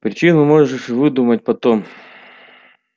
причину можешь выдумать потом